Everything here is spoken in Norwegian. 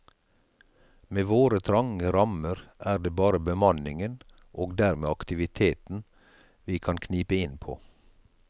Med våre trange rammer er det bare bemanningen, og dermed aktiviteten, vi kan knipe inn på.